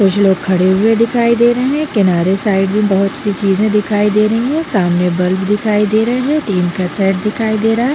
कुछ लोग खड़े हुए दिखाई दे रहे है किनारे साइड में बहुत-सी चीजे दिखाई दे रही है सामने बल्ब दिखाई दे रहे है टीन का सेट दिखाई दे रहा है।